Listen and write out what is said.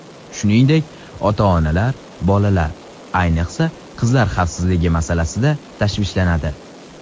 Shuningdek, ota-onalar bolalar, ayniqsa, qizlar xavfsizligi masalasida tashvishlanadi.